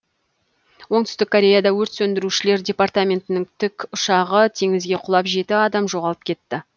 оңтүстік кореяда өрт сөндірушілер департаментінің тікұшағы теңізге құлап жеті адам жоғалып кетті